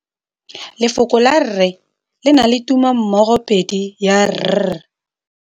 Lefoko la rre le na le tumammogôpedi ya, r.